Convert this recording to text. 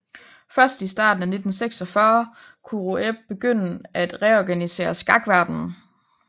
Først i starten af 1946 kunne Rueb begynde at reorganisere skakverdenen